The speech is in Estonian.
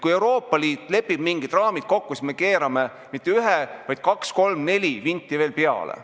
Kui Euroopa Liit lepib mingid raamid kokku, siis me keerame mitte ühe, vaid kaks-kolm-neli vinti veel peale.